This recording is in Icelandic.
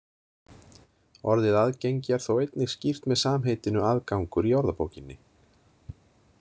Orðið aðgengi er þó einnig skýrt með samheitinu aðgangur í orðabókinni.